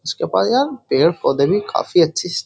पेड़ पौधे भी काफी अच्छी इस --